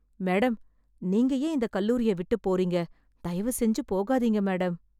Madam, நீங்க ஏன் இந்த கல்லூரியை விட்டு போறீங்க? தயவுசெஞ்சு போகாதீங்க மேடம்.